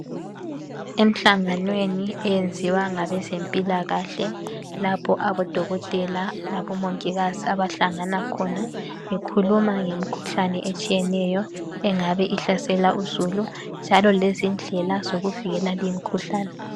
Emhlanganweni eyenziwa ngabezempilakahle lapho abodokotela labomongikazi abahlangana khona bekhuluma ngemikhuhlane etshiyeneyo engabe ihlasela uzulu njalo lezindlela zokuvikela limkhuhlane